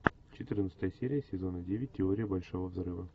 четырнадцатая серия сезона девять теория большого взрыва